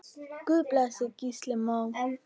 Guð blessi Gísla Má.